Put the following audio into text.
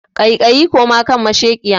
kaikai koma kan mashekiya.